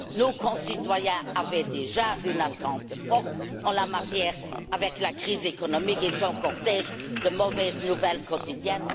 Nos concitoyens avaient déjà une attente forte en la matière avec la crise économique et son cortège de mauvaises nouvelles quotidiennes.